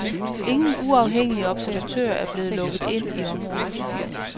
Ingen uafhængige observatører er blevet lukket ind i området.